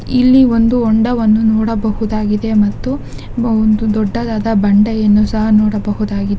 ಇಲ್ಲಿ ಒಂದು ಹೊಂಡವನ್ನು ನೋಡಬಹುದಾಗಿದೆ ಮತ್ತು ಒಬ್ಬ ದೋಡ್ಡವಾದ ಬಂಡೆಯನ್ನು ಸಹ ನೋಡಬಹುದಾಗಿದೆ .